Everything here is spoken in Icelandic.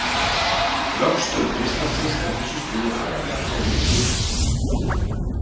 vöxtur kristallsins er á þessu stigi aðallega háður hitastigi